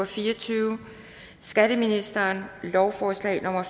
fire og tyve skatteministeren lovforslag nummer